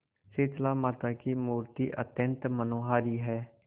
शीतलामाता की मूर्ति अत्यंत मनोहारी है